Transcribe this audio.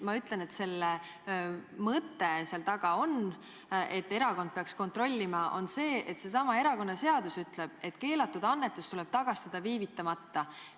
Ma ütlen, et selle mõte seal taga, miks erakond peaks kontrollima, on see: seesama erakonnaseadus ütleb, et keelatud annetus tuleb tagastada viivitamata.